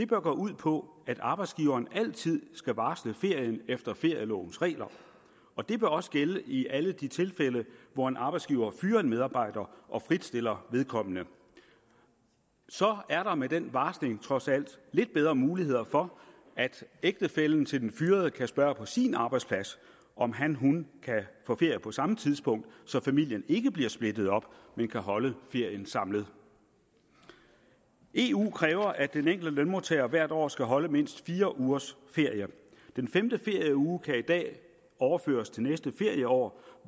gå ud på at arbejdsgiveren altid skal varsle ferien efter ferielovens regler og det bør også gælde i alle de tilfælde hvor en arbejdsgiver fyrer en medarbejder og fritstiller vedkommende så er der med den varsling trods alt lidt bedre muligheder for at ægtefællen til den fyrede kan spørge på sin arbejdsplads om hanhun kan få ferie på samme tidspunkt så familien ikke bliver splittet op men kan holde ferien samlet eu kræver at den enkelte lønmodtager hvert år skal holde mindst fire ugers ferie den femte ferieuge kan i dag overføres til næste ferieår